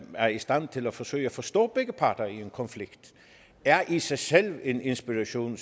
er i stand til at forsøge at forstå begge parter i en konflikt i sig selv er en inspiration